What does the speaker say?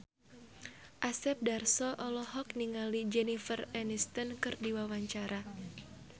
Asep Darso olohok ningali Jennifer Aniston keur diwawancara